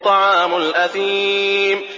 طَعَامُ الْأَثِيمِ